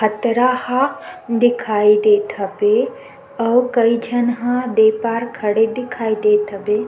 हतरा ह दिखाई देत हबे अउ कई झन ह दे पार खड़े दिखाई देत हबे।